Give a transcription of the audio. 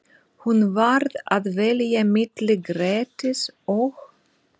Hún varð að velja milli Grettis og